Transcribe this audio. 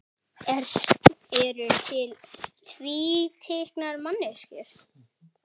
Eru til tvíkynja manneskjur?